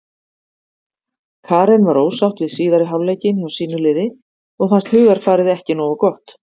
Karen var ósátt við síðari hálfleikinn hjá sínu liði og fannst hugarfarið ekki nógu gott.